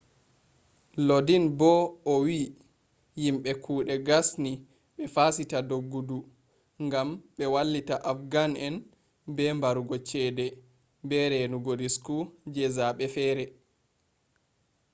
lodin bo'o wi'i yimbe kuɗe gasni be fasita doggudu ngam ɓe wallita afghan'en be barugo ceede be reenugo risku je zaɓe feere